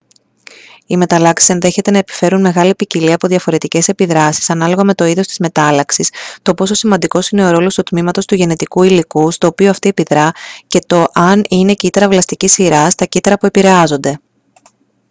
οι μεταλλάξεις ενδέχεται να επιφέρουν μεγάλη ποικιλία από διαφορετικές επιδράσεις ανάλογα με το είδος της μετάλλαξης το πόσο σημαντικός είναι ο ρόλος του τμήματος του γενετικού υλικού στο οποίο αυτή επιδρά και το αν είναι κύτταρα βλαστικής σειράς τα κύτταρα που επηρεάζονται